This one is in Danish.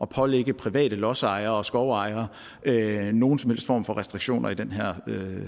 pålægge private lodsejere og skovejere nogen som helst form for restriktioner i den her